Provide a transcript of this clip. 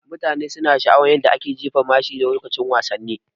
Mutane suna sha'awa yadda ake jefa mashi lokacin wasanni